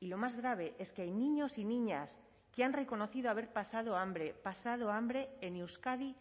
y lo más grave es que hay niños y niñas que han reconocido haber pasado hambre pasado hambre en euskadi